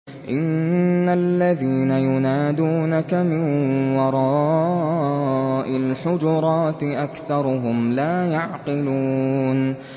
إِنَّ الَّذِينَ يُنَادُونَكَ مِن وَرَاءِ الْحُجُرَاتِ أَكْثَرُهُمْ لَا يَعْقِلُونَ